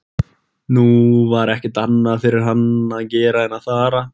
Nú var ekkert annað fyrir hann að gera en að fara.